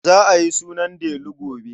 Za a yi sunan Delu gobe.